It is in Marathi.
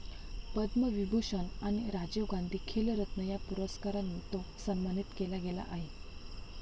पद्मविभूषण आणि राजीव गांधी खेलरत्न या पुरस्कारांनी तो सन्मानित केला गेला आहे